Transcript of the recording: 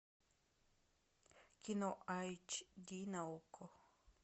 кино айч ди на окко